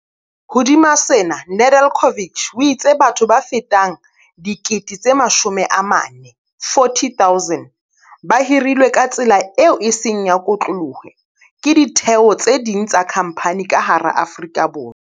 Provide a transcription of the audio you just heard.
Hodima sena, Nedeljkovic o itse batho ba fetang 40 000 ba hirilwe ka tsela eo e seng ya kotloloho ke ditheo tse ding tsa khamphani ka hara Afrika Borwa.